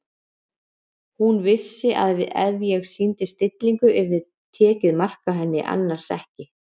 Hún vissi að ef hún sýndi stillingu yrði tekið mark á henni- annars ekki.